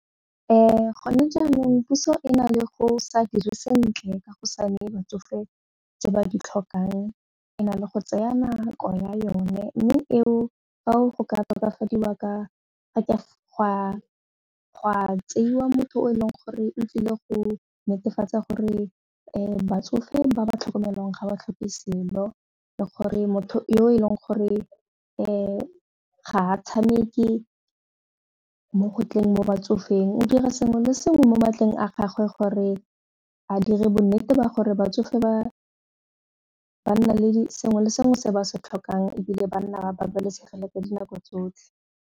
Gone jaanong puso e na le go sa dire sentle ka go sa neye batsofe tse ba di tlhokang e na le go tsaya nako ya yone mme eo fao go ka tokafadiwa ka gwa tseiwa motho o e leng gore o tlile go netefatsa gore batsofe ba ba tlhokomelwang ga ba tlhoke selo le gore motho yo e leng ga tshameke mo go tleng mo batsofeng o dira sengwe le sengwe mo matleng a gagwe gore a dire bonnete ba gore batsofe ba nna le sengwe le sengwe se ba se tlhokang ebile ba nna ba babalesegile ka dinako tsotlhe.